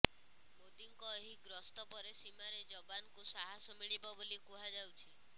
ମୋଦୀଙ୍କ ଏହି ଗସ୍ତ ପରେ ସୀମାରେ ଯବାନଙ୍କୁ ସାହସ ମିଳିବ ବୋଲି କୁହାଯାଉଛି